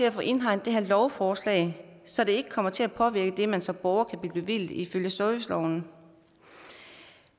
at få indhegnet lovforslaget så det ikke kommer til at påvirke det man som borger kan blive bevilget ifølge serviceloven